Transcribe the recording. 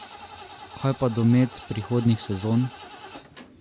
Kaj pa domet prihodnjih sezon?